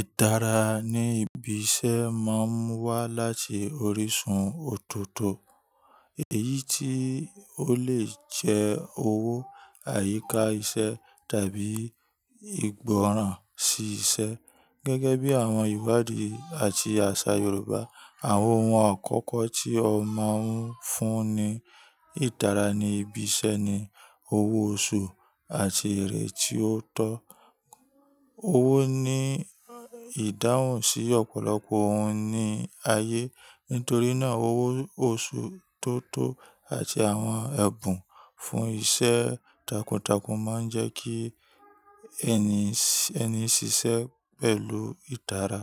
Itara ní ibi iṣẹ́ máa ń wá láti orísun ọ̀tọ̀ọ̀tọ̀, èyí tí ó lè jẹ́ owó, àyíká iṣẹ́ tàbí ìgbọràn sí iṣẹ́. Gẹ́gẹ́ bí àwọn ìwádìí àti àṣà Yorùbá, àwọn ohun àkọ́kọ́ tí a máa ń fún ní itara ní ibi iṣẹ́ ni owó oṣù àti èrè tí ó tọ́. Owó ní ìdáhùn sí ọ̀pọ̀lọpọ̀ ohun ní ayé. Nítorí náà, owó oṣù tó tó àti àwọn ẹ̀bùn fún iṣẹ́ takuntakun máa ń jẹ́ kí ẹni ṣiṣẹ́ pẹ̀lú itara.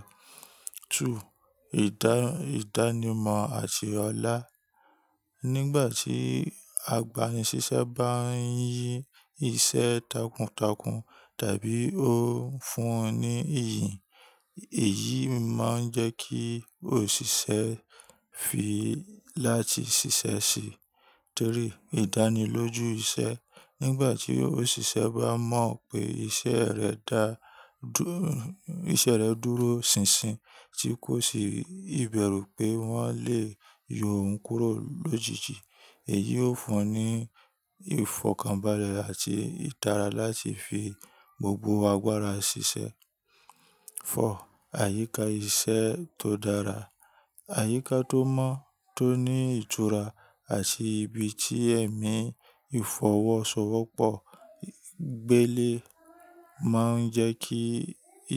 Two: ìdánimọ̀ àti ọlá. Nígbà tí agbani-ṣiṣẹ́ bá ń yí iṣẹ́ takuntakun tàbí ó fún un ní ìyìn, èyí máa ń jẹ́ kí òṣìṣẹ́ fi láti ṣiṣẹ́ síi. Three: ìdánilójú iṣẹ́. Nígbà tí òṣìṣẹ́ bá mọ̀ pé iṣẹ́ rẹ̀ dúró ṣìnṣìn tí kò sì ìbẹ̀rù pé wọ́n lè yọ òun kúrò lójijì, èyí ó fún un ní ìfọ̀kànbalẹ̀ àti itara láti fi gbogbo agbára ṣiṣẹ́. Four: àyíká iṣẹ́ tó dára. Àyíká tó mọ́, tó ní ìtura àti ibi tí ẹ̀mí ìfọwọ́sowọ́pọ̀ gbélé máa ń jẹ́ kí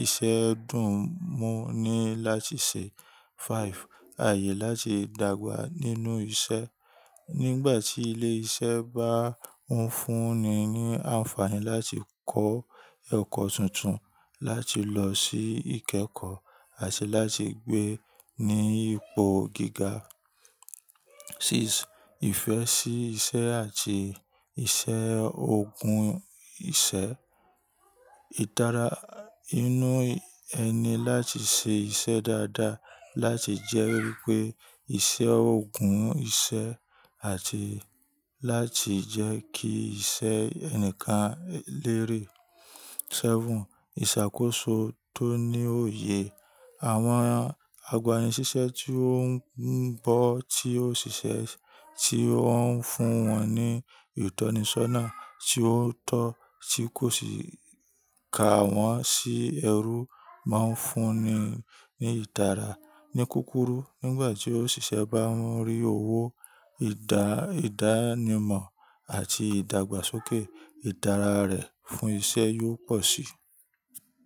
iṣẹ́ dùn ún mú ni láti ṣe. Five: àyè láti dàgbà nínú iṣẹ́. Nígbà tí ilé iṣẹ́ bá ń fún un ní àǹfààní láti kọ́ ẹ̀kọ́ tuntun, láti lọ sí ìkẹ́kọ̀ọ́ àti láti gbé ní ipò gíga. Six: ìfẹ́ sí iṣẹ́ àti ìṣe òògùn iṣẹ́. Itara inú ẹni láti ṣe iṣẹ́ dáadáa láti jẹ́ wípé ìṣe òògùn iṣẹ́ àti láti jẹ́ kí iṣẹ́ ẹnìkan lérè. Seven: ìṣàkóso tó ní òye. Àwọn agbani-ṣiṣẹ́ tí ó ń bọ́ tí òṣìṣẹ́ tí ó ń fún wọn ní ìtọ́nisọ́nà tí ó tọ́ tí kò sì ka wọ́n sí ẹrú máa ń fún ni ní itara. Ní kúrúkù, nígbà tí òṣìṣẹ́ bá ń rí owó, ìdánimọ̀ àti ìdàgbàsókè, itara rẹ̀ fún iṣẹ́ yóò pọ̀ síi.